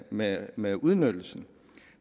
med med udnyttelsen